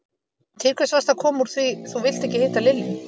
Til hvers varstu að koma úr því þú vilt ekki hitta Lilju?